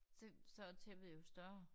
Så så er tæppet jo større